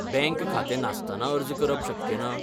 Bank खातें नासतना अर्ज करप शक्य ना?